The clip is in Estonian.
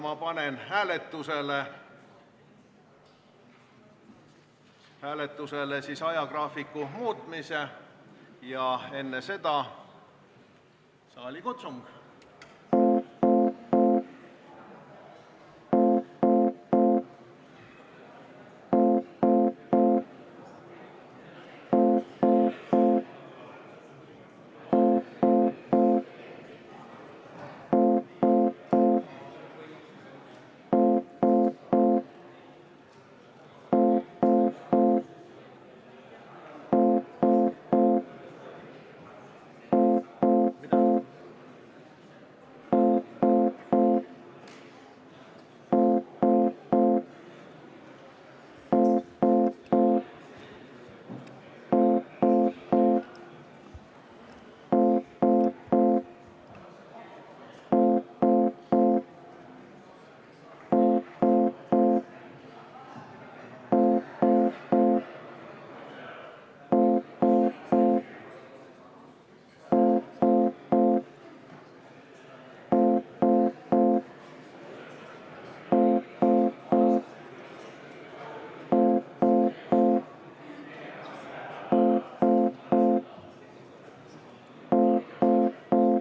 Ma panen hääletusele ajagraafiku muutmise, enne seda teen aga saalikutsungi.